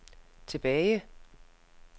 tilbage